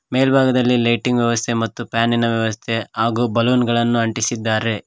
ಮೆಲ್ಬಾಗದಲ್ಲಿ lighting ವ್ಯವಸ್ಥೆ ಮತ್ತು ಫ್ಯಾನಿನ ವ್ಯವಸ್ಥೆ ಹಾಗು ಬಲುನ್ ಗಳನ್ನು ಅಂಟಿಸಿದ್ದಾರೆ.